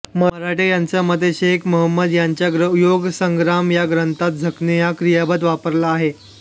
मराठे यांच्या मते शेख महंमद यांच्या योगसंग्राम या ग्रंथात झकणे हे क्रियापद वापरले आहे